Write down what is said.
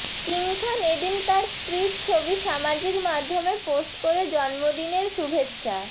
king Khan এদিন তার স্ত্রীর ছবি সামাজিক মাধ্যমে পোস্ট করে জন্মদিনের শুভেচ্ছা